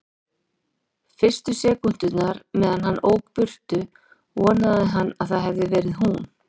Fyrstu sekúndurnar meðan hann ók burt vonaði hann að það hefði verið hún.